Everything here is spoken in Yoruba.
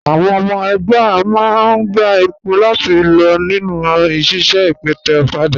Àwọn ọmọ ẹgbá máa n gbà èpò láti lọ̀ nínu síṣẹ̀ ìpẹ̀tẹ̀ òfàdà.